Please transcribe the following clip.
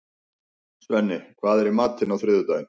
Svenni, hvað er í matinn á þriðjudaginn?